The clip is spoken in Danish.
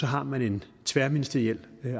har man en tværministeriel